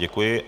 Děkuji.